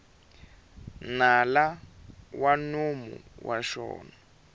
nala wa nomo wa xona